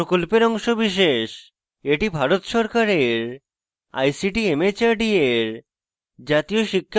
এটি ভারত সরকারের ict mhrd এর জাতীয় শিক্ষা mission দ্বারা সমর্থিত